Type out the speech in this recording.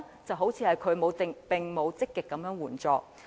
政府似乎並沒有積極提供援助。